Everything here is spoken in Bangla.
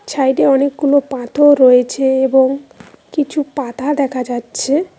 সাইডে অনেকগুলো পাথর রয়েছে এবং কিছু পাতা দেখা যাচ্ছে।